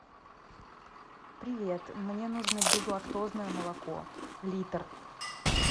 привет мне нужно безлактозное молоко литр